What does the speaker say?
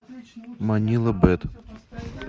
манила бэд